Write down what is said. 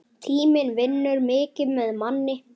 Tíminn vinnur mikið með manni.